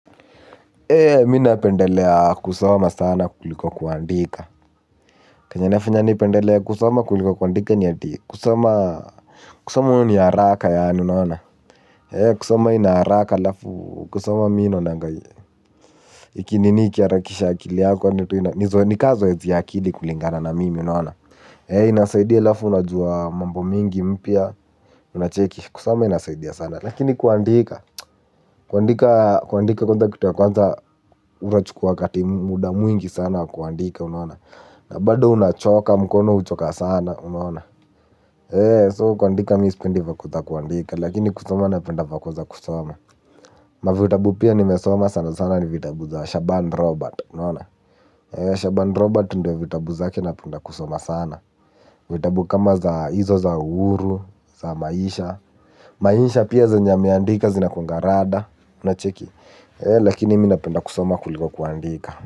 Ee minapendelea kusoma sana kuliko kuandika. Kenye inafanya ni pendelee kusoma kuliko kuandika ni ati kusoma kusoma ni haraka ya anu naona ee kusoma ina haraka alafu kusoma mi naonanga ikinini ikiharakisha akili yako ni ka zoezi ya ya akili kulingana na mimi naona ee inasaidia alafu unajua mambo mingi mpya unacheki kusoma inasaidia sana lakini kuandika kuandika kwanza kitu ya kwanza unachukua wakati muda mwingi sana wa kuandika na bado unachoka mkono huchoka sana unaona eeh so kuandika mimi sipendi vako za kuandika lakini kusoma mimi napenda vako za kusoma. Mavitabu pia nimesoma sana sana ni vitabu za Shaban Robert unaona Shaban Robert ndiyo vitabu zaki napenda kusoma sana. Vitabu kama za hizo za uhuru, za maisha. Maisha pia zenye ameandika zinakuanga rada unacheki. Lakini mimi napenda kusoma kuliko kuandika.